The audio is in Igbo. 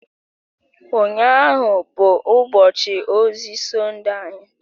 Ụnyahụ bụ ụbọchị ozi Sọnde anyị